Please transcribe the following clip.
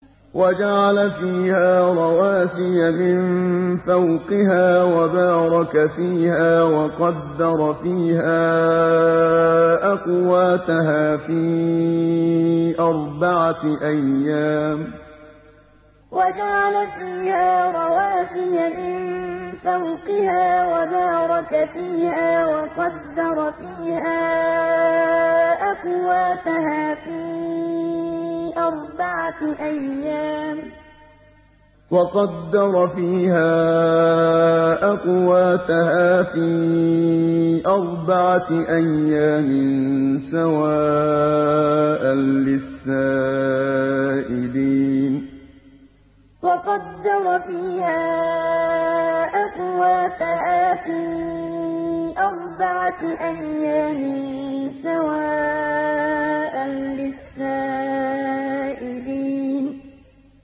وَجَعَلَ فِيهَا رَوَاسِيَ مِن فَوْقِهَا وَبَارَكَ فِيهَا وَقَدَّرَ فِيهَا أَقْوَاتَهَا فِي أَرْبَعَةِ أَيَّامٍ سَوَاءً لِّلسَّائِلِينَ وَجَعَلَ فِيهَا رَوَاسِيَ مِن فَوْقِهَا وَبَارَكَ فِيهَا وَقَدَّرَ فِيهَا أَقْوَاتَهَا فِي أَرْبَعَةِ أَيَّامٍ سَوَاءً لِّلسَّائِلِينَ